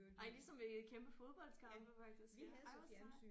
Ej ligesom ved kæmpe fodboldkampe faktisk ej hvor sejt